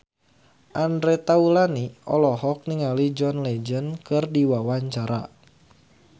Andre Taulany olohok ningali John Legend keur diwawancara